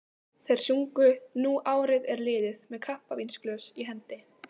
Þeir sungu Nú árið er liðið með kampavínsglös í hendi.